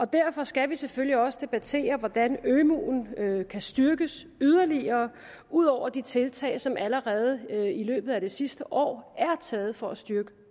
derfor skal vi selvfølgelig også debattere hvordan ømuen kan styrkes yderligere ud over de tiltag som allerede i løbet af det sidste år er taget for at styrke